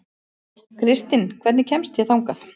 Kristinn, hvernig kemst ég þangað?